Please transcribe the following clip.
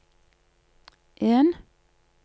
en